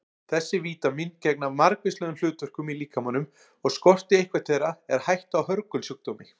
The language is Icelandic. Þessi vítamín gegna margvíslegum hlutverkum í líkamanum og skorti eitthvert þeirra er hætta á hörgulsjúkdómi.